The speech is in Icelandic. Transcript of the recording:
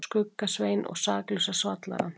Skugga-Svein og Saklausa svallarann.